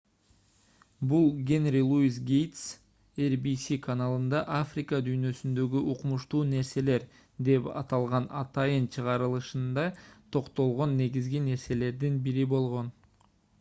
бул генри луис гейтс rbs каналында африка дүйнөсүндөгү укмуштуу нерселер деп аталган атайын чыгарылышында токтолгон негизги нерселердин бири болгон